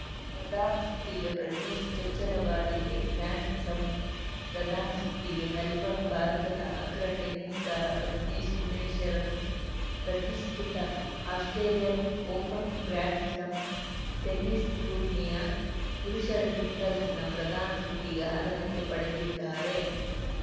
ಪ್ರಧಾನ ಸುತ್ತಿಗೆ ಪ್ರಜ್ನೇಶ್‌ ಚೊಚ್ಚಲ ಬಾರಿಗೆ ಗ್ರ್ಯಾಂಡ್‌ಸ್ಲಾಂ ಪ್ರಧಾನ ಸುತ್ತಿಗೆ ಮೆಲ್ಬರ್ನ್‌ ಭಾರತದ ಅಗ್ರ ಟೆನಿಸ್‌ ಆಟಗಾರ ಪ್ರಜ್ನೇಶ್‌ ಗುಣೇಶ್ವರನ್‌ ಪ್ರತಿಷ್ಠಿತ ಆಸ್ಪ್ರೇಲಿಯನ್‌ ಓಪನ್‌ ಗ್ರ್ಯಾಂಡ್‌ಸ್ಲಾಂ ಟೆನಿಸ್‌ ಟೂರ್ನಿಯ ಪುರುಷರ ಸಿಂಗಲ್ಸ್‌ನ ಪ್ರಧಾನ ಸುತ್ತಿಗೆ ಅರ್ಹತೆ ಪಡೆದಿದ್ದಾರೆ